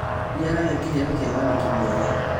Nĩaragia kĩheo kĩa wandĩki mwega